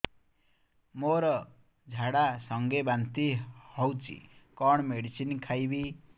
ମୋର ଝାଡା ସଂଗେ ବାନ୍ତି ହଉଚି କଣ ମେଡିସିନ ଖାଇବି